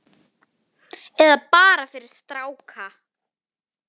Eða bara fyrir stráka!